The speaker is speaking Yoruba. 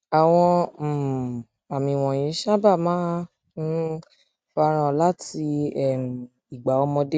àwọn um àmì wọnyí sábà máa ń um fara hàn láti um ìgbà ọmọdé